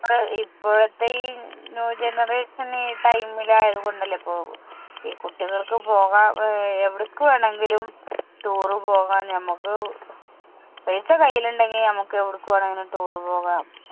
ഇപ്പോഴത്തെ ഈ new generation ഈ time ൽ ആയതുകൊണ്ട് അല്ലെ ഇപ്പൊ കുട്ടികൾക്കു പോകാം അഹ് എവിടേക്ക് വേണമെങ്കിലും toure പോകാം നമുക്ക് പൈസ കൈയിലെ ഉണ്ടെങ്കിൽ നമുക്ക് എവിടേക്ക് വേണെങ്കിലും toure പോകാം.